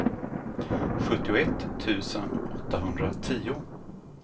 sjuttioett tusen åttahundratio